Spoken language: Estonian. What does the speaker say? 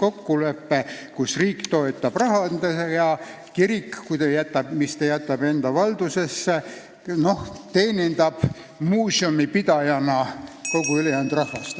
kokkulepe, et riik toetab rahaga ja kui midagi jäetakse kirikute valdusesse, siis muuseumipidajana teenindavad kirikud ka kogu rahvast.